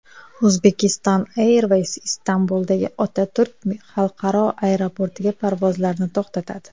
Uzbekistan Airways Istanbuldagi Otaturk xalqaro aeroportiga parvozlarni to‘xtatadi.